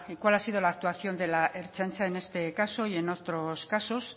cuál ha sido la actuación de la ertzaintza en este caso y en otros casos